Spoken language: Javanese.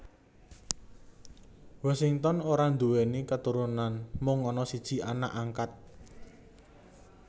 Washington ora nduwèni katurunan mung ana siji anak angkat